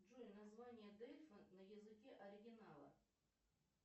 джой название дельфа на языке оригинала